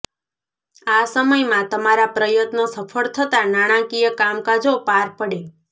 આ સમયમાં તમારા પ્રયત્ન સફળ થતાં નાણાંકીય કામકાજો પાર પડે